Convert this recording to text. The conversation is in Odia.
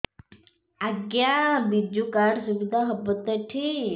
ଆଜ୍ଞା ବିଜୁ କାର୍ଡ ସୁବିଧା ହବ ତ ଏଠି